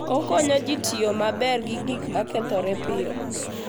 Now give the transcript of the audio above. Okonyo ji tiyo maber gi gik ma kethore piyo.